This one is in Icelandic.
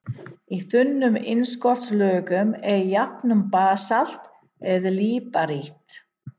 Í þunnum innskotslögum er jafnan basalt eða líparít.